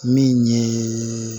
Min ye